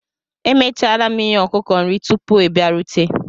Emechara m i nye ọkụkọ nri tupu ị bịarute